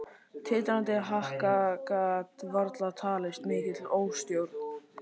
Titrandi haka gat varla talist mikil óstjórn eða dramatík.